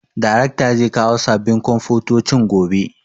Darekta zai kawo sabin komfutocin gobe